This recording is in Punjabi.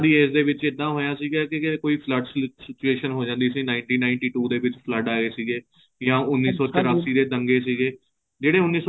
ਉਹਨਾਂ ਦੀ age ਦੇ ਵਿੱਚ ਏਦਾ ਹੋਇਆ ਸੀਗਾ ਵੀ ਕੋਈ flood situation ਹੋ ਜਾਂਦੀ ਸੀ nineteen ninety two ਦੇ ਵਿੱਚ flood ਆਏ ਸੀਗੇ ਯਾ ਉੰਨੀ ਸੋ ਤਰਾਸੀ ਦੇ ਦੰਗੇ ਸੀਗੇ ਜਿਹੜੇ